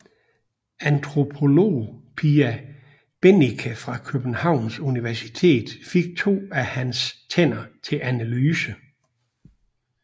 Antropolog Pia Bennike fra Københavns Universitet fik to af hans tænder til analyse